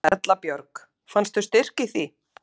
Erla Björg: Fannstu styrk í því?